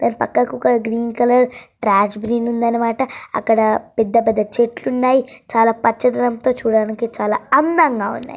అక్కడ ఒక green colour రాసి ఉందన్నమాట అక్కడ పెద్ద పెద్ద చెట్లు ఉన్నాయి చాలా పచ్చదనంతో చాలా అందంగా ఉన్నాయి.